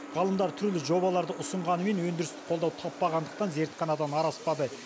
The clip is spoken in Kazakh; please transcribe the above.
ғалымдар түрлі жобаларды ұсынғанымен өндірістік қолдау таппағандықтан зертханадан ары аспады